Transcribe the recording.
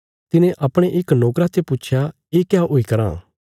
तिने अपणे इक नोकरा ते पुच्छया ये क्या हुई कराँ